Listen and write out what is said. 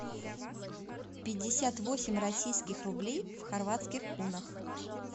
пятьдесят восемь российских рублей в хорватских кунах